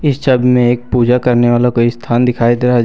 इस छवि में एक पूजा करने वाला कोई स्थान दिखाई दे रहा है।